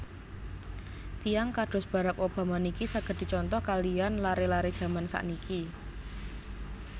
Tiyang kados Barrack Obama niki saget dicontoh kaliyan lare lare jaman sakniki